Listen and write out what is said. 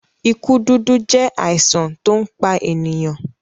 ikú dúdú jẹ àìsàn to npá ènìyàn.